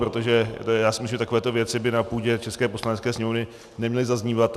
Protože já si myslím, že takovéto věci by na půdě české Poslanecké sněmovny neměly zaznívat.